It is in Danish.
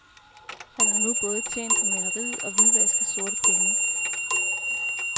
Han har nu både tjent på maleriet og hvidvasket sorte penge.